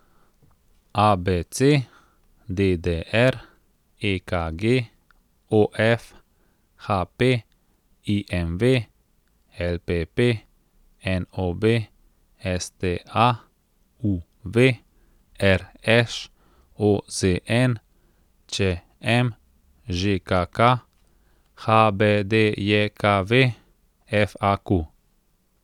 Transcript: A B C; D D R; E K G; O F; H P; I M V; L P P; N O B; S T A; U V; R Š; O Z N; Č M; Ž K K; H B D J K V; F A Q.